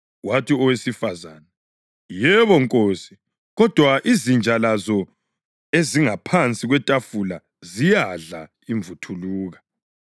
Wathi owesifazane, “Yebo, Nkosi, kodwa izinja lazo ezingaphansi kwetafula ziyadla imvuthuluka.”